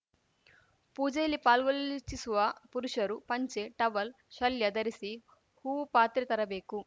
ಪೂಜೆಯಲ್ಲಿ ಪಾಲ್ಗೊಳ್ಳಲಿಚ್ಛಿಸುವ ಪುರುಷರು ಪಂಚೆ ಟವಲ್‌ ಶಲ್ಯ ಧರಿಸಿ ಹೂವು ಪಾತ್ರೆ ತರಬೇಕು